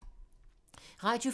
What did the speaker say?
Radio 4